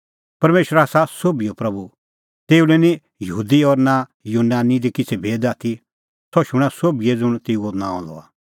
परमेशर आसा सोभिओ प्रभू तेऊ लै निं यहूदी और यूनानी दी किछ़ै भेद आथी सह शूणां सोभिए ज़ुंण तेऊओ नांअ लआ